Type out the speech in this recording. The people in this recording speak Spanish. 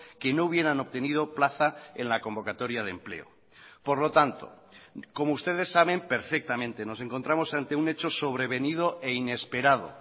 que no hubieran obtenido plaza en la convocatoria de empleo por lo tanto como ustedes saben perfectamente nos encontramos ante un hecho sobrevenido e inesperado